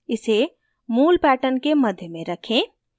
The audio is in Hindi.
इसे मूल pattern के मध्य में रखें